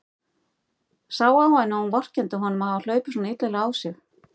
Sá á henni að hún vorkenndi honum að hafa hlaupið svona illilega á sig.